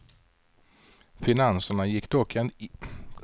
Finanserna gick dock inte ihop den första dagen.